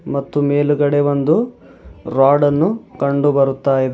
ಮತ್ತು ಮೇಲುಗಡೆ ಒಂದು ರಾಡ್ ಅನ್ನು ಕಂಡು ಬರುತ್ತಾ ಇದೆ.